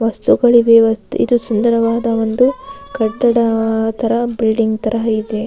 Boss ತಗೊಳ್ಳಿ ಇದು ಸುಂದರವಾದ ಒಂದು ಕಟ್ಟಡ ತರ ಬಿಲ್ಡಿಂಗ್ ತರ ಇದೆ.